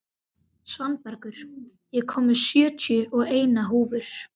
Svanbergur, ég kom með sjötíu og eina húfur!